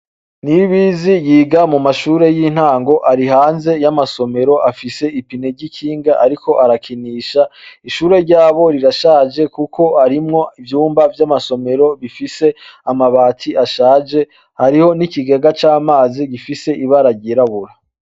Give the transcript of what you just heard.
Niyibizi yiga mu mashure y'intango. Ari hanze y'amasomero afise ipine ry'ikinga ariko arakinisha. Ishure ryabo rirashaje kukoharimwo ivyumba vy'amasomero bifise amabati ashaje. Hariho n'ikigega c'amazi gifise ibara ryirabura.